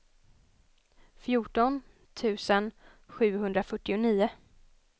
fjorton tusen sjuhundrafyrtionio